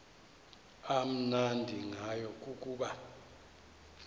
amnandi ngayo kukuba